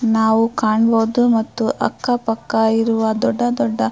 ನಾವು ಕಾಣ್ ಬೋದು ಮತ್ತು ಅಕ್ಕ ಪಕ್ಕ ಇರುವ ದೊಡ್ಡ ದೊಡ್ಡ --